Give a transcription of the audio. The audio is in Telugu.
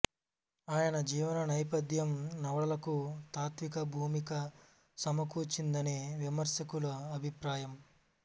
ఆయన జీవన నేపథ్యం నవలకు తాత్త్విక భూమిక సమకూర్చిందని విమర్శకుల అభిప్రాయం